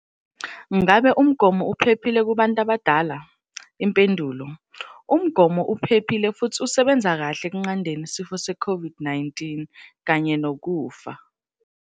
Ngakube umgomo uphephile kubantu abadala? Impendulo- Umgomo uphephile futhi usebenza kahle ekunqandeni isifo seCOVID-19 kanye nokufa.